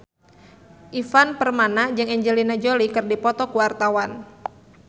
Ivan Permana jeung Angelina Jolie keur dipoto ku wartawan